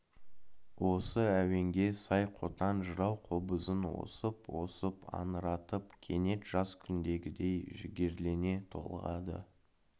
осы әуенге сай қотан жырау қобызын осып-осып аңыратып кенет жас күндегідей жігерлене толғады